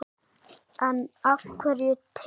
En af hverju te?